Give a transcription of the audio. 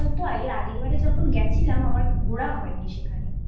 এর আগেরবার যখন গেছিলাম আমার ঘোরা হয় নি সেখানে